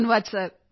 ਧੰਨਵਾਦ ਸਰ